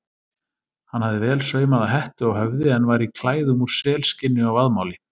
Hann hafði vel saumaða hettu á höfði en var í klæðum úr selskinni og vaðmáli.